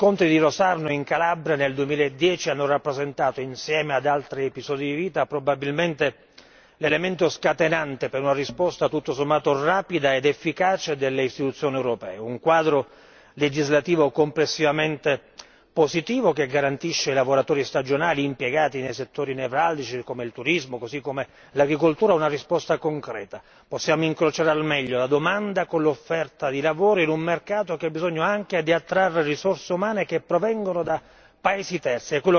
Gli scontri di Rosarno in Calabria, nel 2010, hanno rappresentato, insieme ad altri episodi, probabilmente l'elemento scatenante per una risposta tutto sommato rapida ed efficace delle istituzioni europee un quadro legislativo complessivamente positivo che garantisce ai lavoratori stagionali impiegati nei settori nevralgici come il turismo, così come l'agricoltura, una risposta concreta. Possiamo incrociare al meglio la domanda con l'offerta di lavoro in un mercato che ha bisogno anche di attrarre risorse umane che provengono da paesi terzi.